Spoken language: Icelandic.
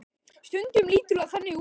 Stundum lítur það þannig út.